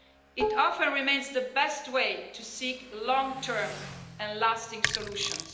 It often remains the best way to seek long-term, lasting solutions.